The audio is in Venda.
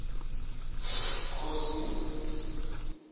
khosi